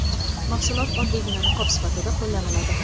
Mahsulot oddiygina niqob sifatida qo‘llaniladi.